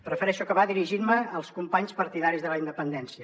prefereixo acabar dirigint me als companys partidaris de la independència